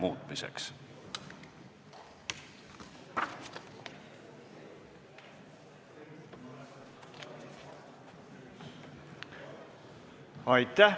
Aitäh!